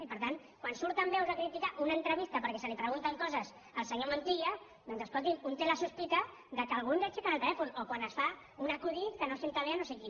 i per tant quan surten veus a criticar una entrevista perquè se li pregunten coses al senyor montilla doncs escolti’m un té la sospita que alguns aixequen el telèfon o quan es fa un acudit que no se li posa bé a no sé qui